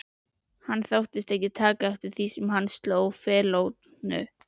Hann þóttist ekki taka eftir því þegar hann sló feilnótu.